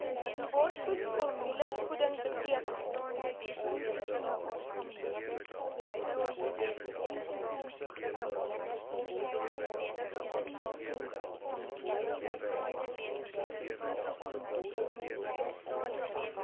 borsvoed formulevoeding beteken